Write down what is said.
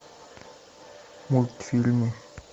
мультфильмы